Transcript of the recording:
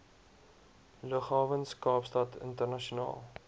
lughawens kaapstad internasionaal